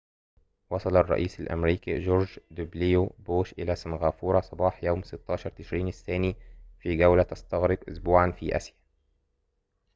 وصل الرئيس الأمريكي جورج دبليو بوش إلى سنغافورة صباح يوم 16 تشرين الثاني في جولةٍ تَستغرق أسبوعًا في آسيا